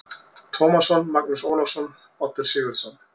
Tómasson, Magnús Ólafsson, Oddur Sigurðsson